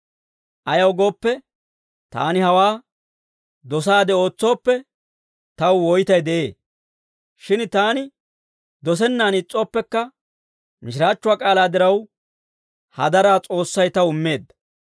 Ayaw gooppe, taani hawaa dosaade ootsooppe, taw woytay de'ee. Shin taani dosennaan is's'ooppekka, mishiraachchuwaa k'aalaa diraw hadaraa S'oossay taw immeedda.